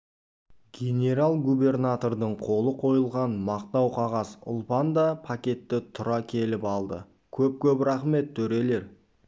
генерал-губернатордың қолы қойылған мақтау қағаз ұлпан да пакетті тұра келіп алды көп-көп рахмет төрелер